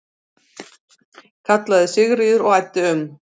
kallaði Sigríður og æddi um.